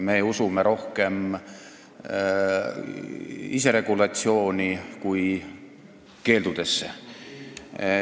Me usume rohkem iseregulatsiooni kui keeldudesse.